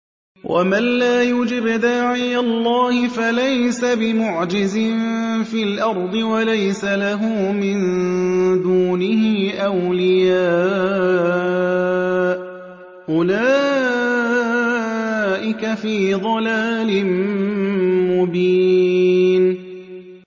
وَمَن لَّا يُجِبْ دَاعِيَ اللَّهِ فَلَيْسَ بِمُعْجِزٍ فِي الْأَرْضِ وَلَيْسَ لَهُ مِن دُونِهِ أَوْلِيَاءُ ۚ أُولَٰئِكَ فِي ضَلَالٍ مُّبِينٍ